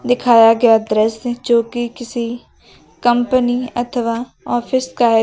दिखाया गया दृश्य जो कि किसी कंपनी अथवा ऑफिस का है।